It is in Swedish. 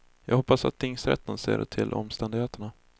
Jag hoppas att tingsrätten ser till omständigheterna.